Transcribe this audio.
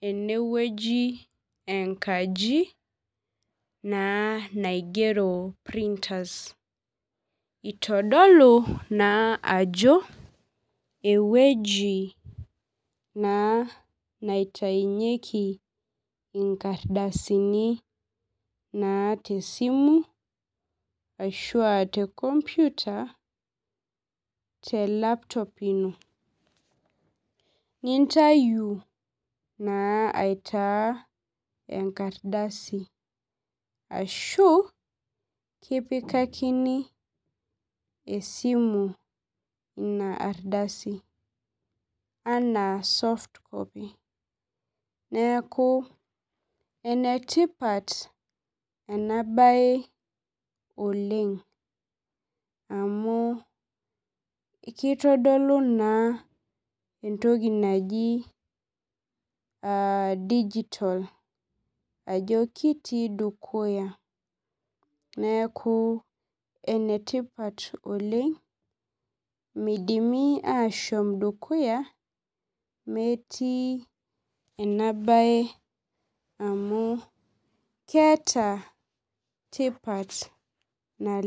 enewueji enkaji naa naigero printers itodolu naa ajo ewueji naa naitainyieki inkardasini naa tesimu ashua te computer te laptop ino nintayu naa aitaa enkardasi ashu kipikakini esimu ina ardasi anaa softcopy neeku enetipat ena baye oleng amu kitodolu naa entoki naji uh digital ajo kitii dukuya neeku enetipat oleng midimi ashom dukuya metii ena baye amu keeta tipat naleng.